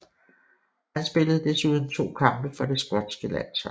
Han spillede desuden to kampe for det skotske landshold